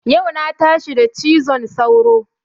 Yau na tashi da cizon sauro